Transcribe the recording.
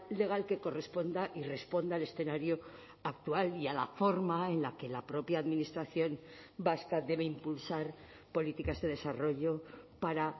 legal que corresponda y responda al escenario actual y a la forma en la que la propia administración vasca debe impulsar políticas de desarrollo para